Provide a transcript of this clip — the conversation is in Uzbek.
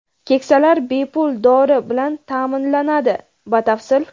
Keksalar bepul dori bilan taʼminlanadi Batafsil.